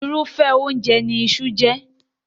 Irúfẹ́ oúnjẹ ní iṣu jẹ́.